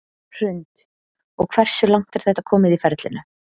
Hrund: Og hversu langt er þetta komið í ferlinu?